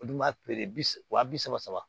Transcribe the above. Olu dun b'a feere bi wa bi saba saba